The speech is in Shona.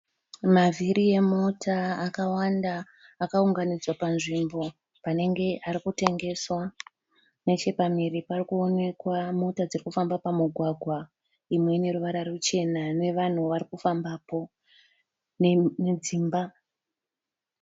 Mavhiri emota akawanda akaunganidzwa panzvimbo panenge ari kutengeswa neche pamhiri parikuonekwa mota dziri kufamba pamugwagwa imwe ine ruvara ruchena nevanhu varikufambapo nedzimba.